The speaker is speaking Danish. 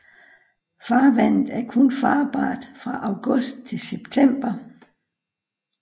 Farvandet er kun farbart fra august til september